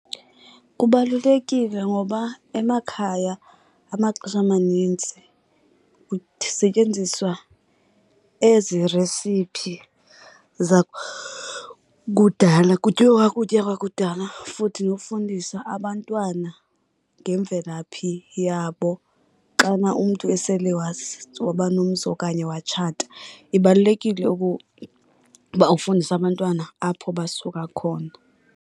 Kubalulekile ngoba emakhaya amaxesha amanintsi kusetyenziswa ezi resiphi zakudala. Kutyiwa ukutya kwakudala futhi nofundisa abantwana ngemvelaphi yabo xana umntu esele wazi waba nomzi okanye watshata. Ibalulekile okokuba ufundise abantwana apho basuka khona.